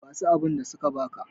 basu abinda suka baka!